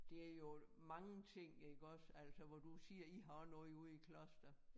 Det er jo mange ting iggås altså hvor du siger I har også noget ude i Kloster